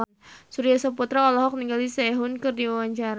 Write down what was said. Surya Saputra olohok ningali Sehun keur diwawancara